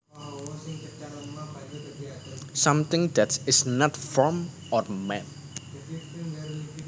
Something that is not formed or made